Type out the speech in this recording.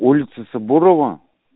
улица сабурова